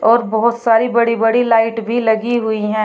और बहोत सारी बड़ी बड़ी लाइट भी लगी हुई है।